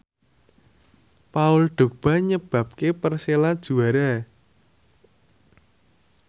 Paul Dogba nyebabke Persela juara